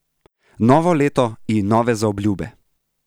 Novo leto in nove zaobljube!